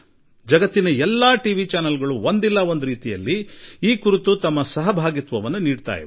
ಭಾರತ ಹಾಗೂ ಜಗತ್ತಿನ ಎಲ್ಲಾ ಟಿವಿ ವಾಹಿನಿಗಳು ಒಂದಲ್ಲಾ ಒಂದು ಈ ಕೆಲಸದಲ್ಲಿ ತಮ್ಮ ಕೊಡುಗೆ ನೀಡುತ್ತಾ ಬಂದಿವೆ ಎಂಬುದು ನಿಮಗೆ ಗೊತ್ತಾಗುತ್ತದೆ